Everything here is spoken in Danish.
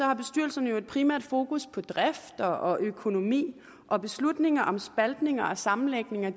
har bestyrelserne jo et primært fokus på drift og økonomi og beslutninger om spaltninger og sammenlægninger